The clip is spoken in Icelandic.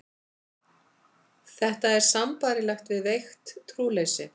Þetta er sambærilegt við veikt trúleysi.